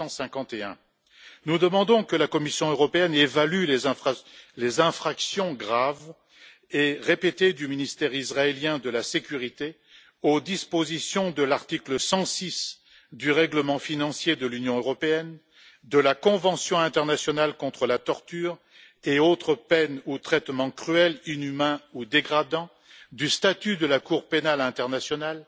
1951. Nous demandons que la Commission européenne évalue les infractions graves et répétées du ministère israélien de la sécurité aux dispositions de l'article 106 du règlement financier de l'Union européenne, de la convention internationale contre la torture et autres peines ou traitements cruels, inhumains ou dégradants, du statut de la Cour pénale internationale,